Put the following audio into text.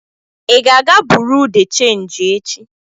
Ị ga-aga Buruu de chenji echi?